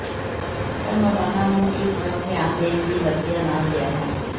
ਪਰ ਮੈਡੋਨਾ ਨੂੰ ਇਸ ਵੱਲ ਧਿਆਨ ਦੇਣ ਦੀ ਵਰਤਿਆ ਨਾ ਗਿਆ ਹੈ